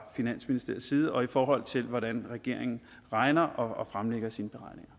finansministeriets side og i forhold til hvordan regeringen regner og fremlægger sine